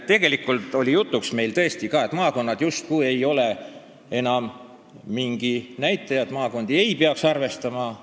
Tegelikult oli põhiseaduskomisjonis jutuks ka see, et maakonnad justkui ei ole enam mingi näitaja, maakondi ei peaks arvestama.